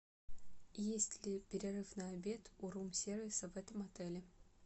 есть ли перерыв на обед у рум сервиса в этом отеле